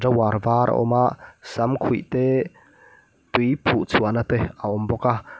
var a awm a samkhuih te tui phuh chhuahna te a awm bawk a.